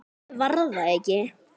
En ég var það ekki.